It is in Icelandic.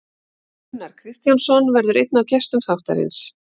Gunnar Kristjánsson verður einn af gestum þáttarins.